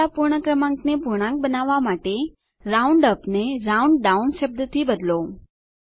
નીચલાં પૂર્ણ ક્રમાંકને પૂર્ણાંક બનાવવાં માટે રાઉન્ડઅપ ને રાઉન્ડડાઉન શબ્દથી બદલો